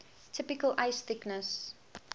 typical ice thickness